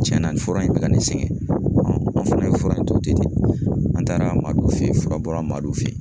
Tiɲɛna nin fura in bɛ ka ne sɛgɛn, a fana ye fura in to ten, an taara Madu fɛ yen, fura bɔra Madu fɛ yen